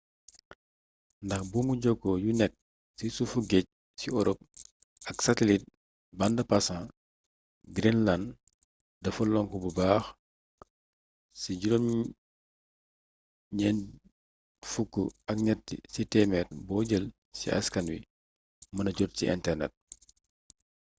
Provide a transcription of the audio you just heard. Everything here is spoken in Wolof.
ndax buumu jokkoo yu nekk ci suuf géej ci orop ak satelit band pasant greenland dafa lonku bu baax ci 93 ci téemeer boo jël ci askan wi mëna jot ci internet